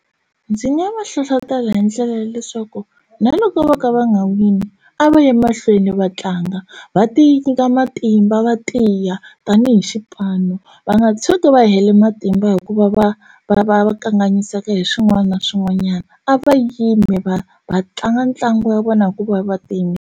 Ndzi nga va hlohlotela hi ndlela ya leswaku na loko vo ka va nga wini a va yi mahlweni va tlanga va ti nyika matimba va tiya tanihi xipano va nga tshuki va hela matimba hikuva va va va kanganyiseka hi swin'wana na swin'wanyana a va yimi va va tlanga ntlangu wa vona hi ku va Va ti yimiserile.